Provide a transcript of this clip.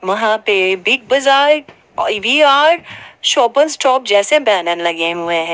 वहां पे Big Bazaar Shopper Stop जैसे बैनर लगे हुए है।